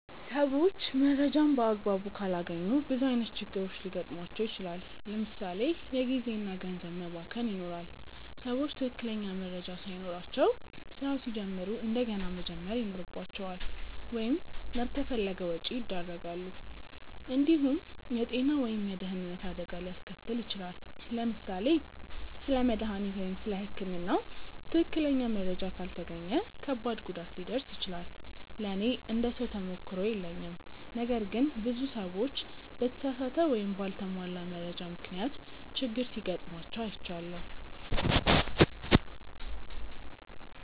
ሰዎች መረጃን በአግባቡ ካላገኙ ብዙ ዓይነት ችግሮች ሊገጥሟቸው ይችላል። ለምሳ ሌ የጊዜ እና ገንዘብ መባከን ይኖራል። ሰዎች ትክክለኛ መረጃ ሳይኖራቸው ስራ ሲጀምሩ እንደገና መጀመር ይኖርባቸዋል ወይም ላልተፈለገ ወጪ ያደርጋሉ። እንዲሁም የጤና ወይም የደህንነት አደጋ ሊያስከትል ይችላል። ለምሳሌ ስለ መድሃኒት ወይም ስለ ህክምና ትክክለኛ መረጃ ካልተገኘ ከባድ ጉዳት ሊደርስ ይችላል። ለእኔ እንደ ሰው ተሞክሮ የለኝም ነገር ግን ብዙ ሰዎች በተሳሳተ ወይም በአልተሟላ መረጃ ምክንያት ችግር ሲጋጥማቸው አይቻለሁ።